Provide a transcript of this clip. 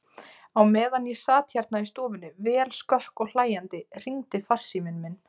Á meðan ég sat hérna í stofunni, vel skökk og hlæjandi, hringdi farsíminn minn.